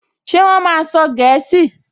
Ṣé wọ́n máa sọ gẹ̀ẹ́sì?